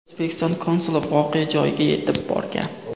O‘zbekiston konsuli voqea joyiga yetib borgan .